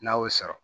N'a y'o sɔrɔ